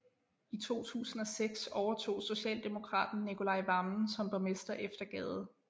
I 2006 overtog socialdemokraten Nicolai Wammen som borgmester efter Gade